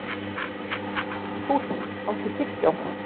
Húnn, áttu tyggjó?